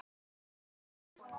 Ingi Bogi.